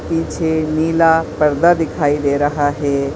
पीछे नीला परदा दिखाई दे रहा है।